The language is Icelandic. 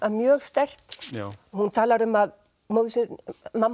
mjög sterkt hún talar um að mamma